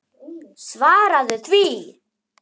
Svaraðu því!